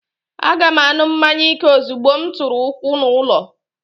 Aga m aṅụ mmanya ike ozugbo m tụrụ ụkwụ n'ulo